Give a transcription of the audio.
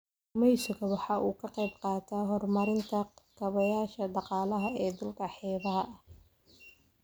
Kalluumaysigu waxa uu ka qayb qaataa horumarinta kaabayaasha dhaqaalaha ee dhulka xeebaha ah.